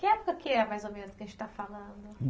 Que época que é, mais ou menos, que a gente está falando?